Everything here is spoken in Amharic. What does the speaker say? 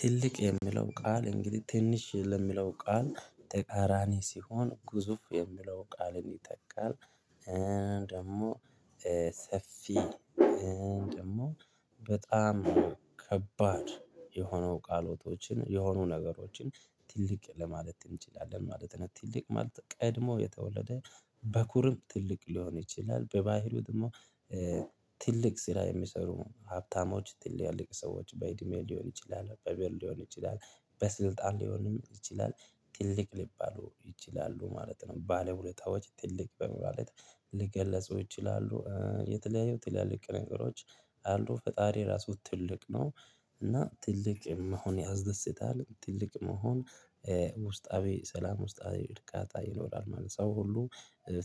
ትልቅ የሚለው ቃል እንግዲህ ትንሽ ለሚለው ቃል ተቃራኒ ሲሆን ግዙፍ የሚለው ቃልን ይተካል። ደግሞ ሰፊ ደግሞ በጣም ከባድ የሆነው ቃለቶችን የሆኑ ነገሮችን ትልቅ ለማለት እንችላለን ማለት ነው። ትልቅ ማለት ቀድሞ የተወለደ በኩርም ትልቅ ሊሆን ይችላል በባህርው ደግሞ። ትልቅ ስራ የሚሰሩ ሀብታሞች ትላልቅ ሰዎች በእድሜ ሊሆን ይችላል በበር ሊሆን ይችላል በስልጣን ሊሆንም ይችላል ትልቅ ሊባሉ ይችላሉ ማለት ነው። ባለውለታዎች ትልቅ በማለት ልገልፁ ይችላሉ የተለያዩ ትላልቅ ነገሮች አሉ ፈጣሪ ራሱ ትልቅ ነው። እና ትልቅ መሆን ያስደስታል ትልቅ መሆን ውስጣዊ ሰላም ውስጣዊ እርካታ ይኖራል ማለት ነው። ሰው ሁሉ